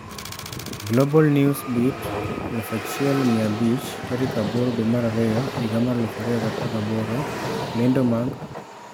Global News Beat 1500 8/2/2018 lendo mag